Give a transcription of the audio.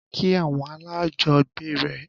Kí àwọn alájọgbe rẹ!